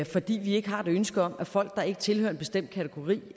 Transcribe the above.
fordi vi ikke har et ønske om at folk der ikke tilhører en bestemt kategori